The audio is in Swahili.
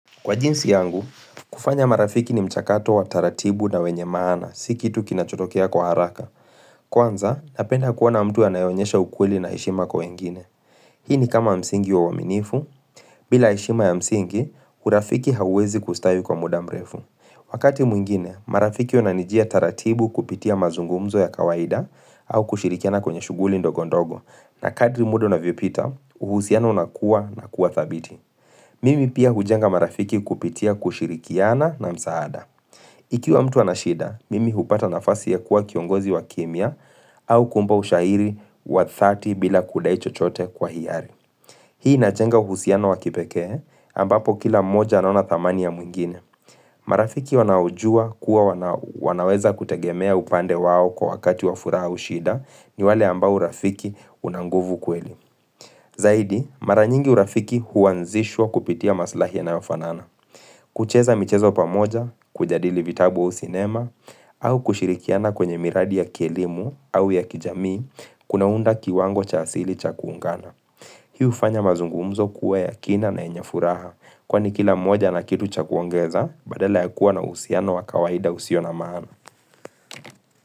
Kwa jinsi yangu, kufanya marafiki ni mchakato wa taratibu na wenye maana, si kitu kinachotokea kwa haraka. Kwanza, napenda kuona mtu anayeonyesha ukweli na heshima kwa wengine. Hii ni kama msingi wa uaminifu, bila heshima ya msingi, urafiki hauwezi kustawi kwa muda mrefu. Wakati mwingine, marafiki wananijia taratibu kupitia mazungumzo ya kawaida au kushirikiana kwenye shuguli ndogondogo. Na kadri muda unavyopita, uhusiano unakuwa na kuwa thabiti. Mimi pia hujenga marafiki kupitia kushirikiana na msaada. Ikiwa mtu ana shida, mimi hupata nafasi ya kuwa kiongozi wa kimya au kuomba ushahiri wa thati bila kudai chochote kwa hiari. Hii inajenga uhusiano wa kipekee, ambapo kila mmoja anaona thamani ya mwingine. Marafiki wanao juwa kuwa wanaweza kutegemea upande wao kwa wakati wa furaha au shida ni wale ambao urafiki una nguvu kweli. Zaidi, mara nyingi urafiki huanzishwa kupitia maslahi yanayofanana. Kucheza michezo pamoja, kujadili vitabu ua sinema, au kushirikiana kwenye miradi ya kielimu au ya kijamii, kunaunda kiwango cha asili cha kuungana. Hii ufanya mazungumzo kuwa ya kina na yenye furaha, kwani kila moja na kitu cha kuongeza, badala ya kuwa na uhusiano wa kawaida usio na maana.